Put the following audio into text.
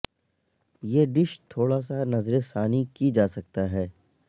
یہ ڈش تھوڑا سا نظر ثانی کی جا سکتا ہے